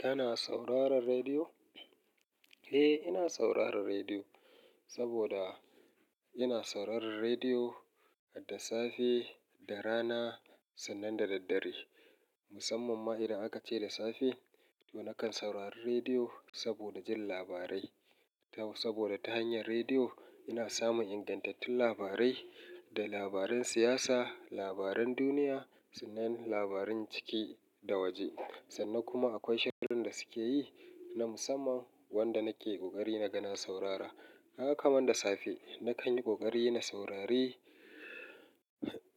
Kana sauraron rediyo? Eh, ina sauraron rediyo, saboda ina sauraron rediyo da safe da rana sannan da daddare. Musamman ma idan aka ce da safe, to nakan saurari rediyo saboda jin labarai. To saboda ta hanyar rediyo ina samun ingantattun labarai, da labaran siyasa, labaran duniya sannan labaran ciki da waje. Sannan kuma akwai shirin da suke yi na musamman wanda nake ƙoƙari naga na saurara. Gaka kaman da safe, nakan yi ƙoƙari na saurari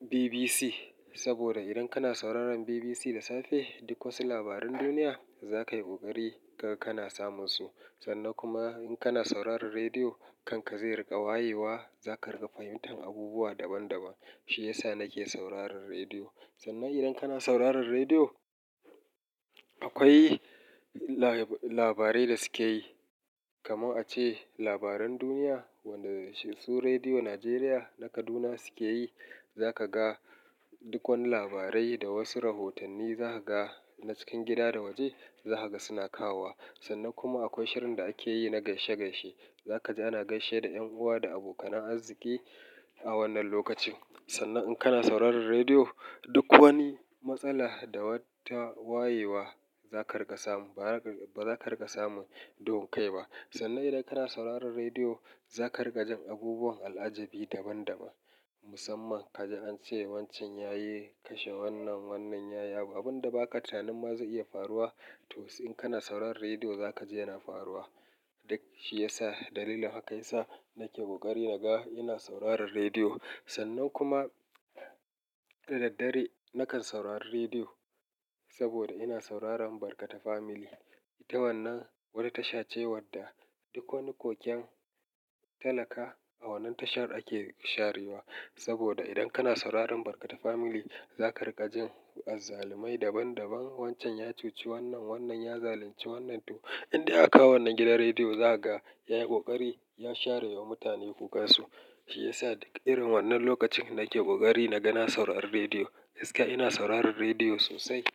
BBC. Saboda idan kana sauraron BBC da safe, duk wasu labaran duniya za ka yi ƙoƙari kaga kana samun su. Sannan kuma in kana sauraron rediyo, kanka zai riƙa wayewa, za ka riƙa fahimtar abubuwa daban daban. Shi ya sa nake sauraron rediyo. Sannan idan kana sauraron rediyo, akwai la-labarai da suke yi. Kamar ace labaran duniya, wanda su Rediyo Najeriya na Kaduna suke yi, za ka ga duk wani labarai da wasu rahotanni za ka ga na cikin gida da waje za ka ga suna kawo wa. Sannan kuma akwai shirin da ake yi na gaishe gaishe. Za ka ji ana gaishe da 'yan uwa da abokanan arziki a wannan lokacin. Sannan in kana sauraron rediyo, duk wani matsala da wata wayewa za ka riƙa samu. Ba za ka riƙa samu duhun kai ba. Sannan idan kana sauraron rediyo, za ka riƙa jin abubuwan al'ajabi daban daban. Musamman ka ji an ce wancan ya yi kashe wannan, wannan ya yaba. Abin da ba ka tunanin ma zai iya faruwa, to in kana sauraron rediyo za ka ji yana faruwa. Duk shi ya sa dalilin haka ya sa nake ƙoƙari na ga ina sauraron rediyo. Sannan kuma da daddare nakan saurari rediyo saboda ina sauraron Barkata Family. Ita wannan wata tasha ce wadda duk wani koken talaka a wannan tashar ake sharewa. Saboda idan kana sauraron Barkata Family, za ka riƙa jin azzalumai daban daban. Wancan ya cuci wannan, wannan ya zalunci wannan. To inda aka kawo wannan gidan rediyo za ka ga ya yi ƙoƙari ya share wa mutane kukansu. Shi ya sa duk irin wannan lokacin nake ƙoƙari naga na saurari rediyo. Gaskiya ina sauraron rediyo sosai.